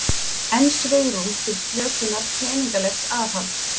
Enn svigrúm til slökunar peningalegs aðhalds